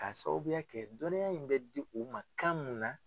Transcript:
K'a sababuya kɛ dɔnniya in bɛ di u ma kan mun na.